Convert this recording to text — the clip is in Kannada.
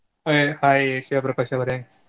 ಹಾ hai ಶಿವಪ್ರಕಾಶ್ ಅವರೆ.